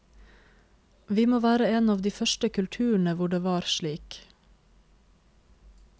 Vi må være en av de første kulturene hvor det er slik.